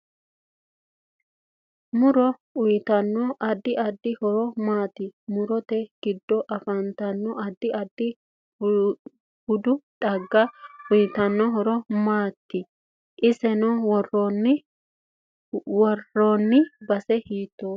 Muro uyiitanno addi addi horo maati murote giddo afantanno addi addi baadi xaagga uyiitanno horo maati insa worre heenooni base hiitoote